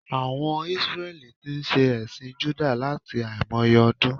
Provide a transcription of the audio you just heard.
Àwon Isreli tí n se èsìn Júdà láti àìmoye odún